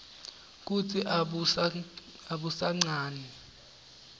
kutsi abusanqani